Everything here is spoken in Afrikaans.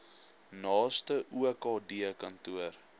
naaste okd kantoor